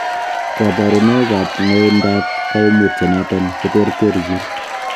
Koborunoik ak ng'oindab koimutioniton koterterchin.